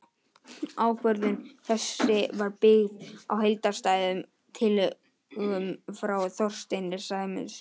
Ákvörðun þessi var byggð á heildstæðum tillögum frá Þorsteini Sæmundssyni.